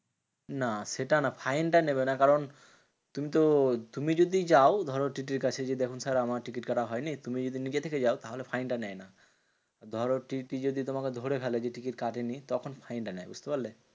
না সেটা না fine টা নেবে না। কারণ তুই তো তুমি যদি যাও ধরো TTE র কাছে যে, দেখুন sir আমার টিকিট কাটা হয়নি। তুমি যদি নিজে থেকে যাও তাহলে fine টা নেয় না। ধরো TTE যদি তোমাকে ধরে ফেলে যে, টিকিট কাটেনি তখন fine টা নেয়, বুঝতে পারলে?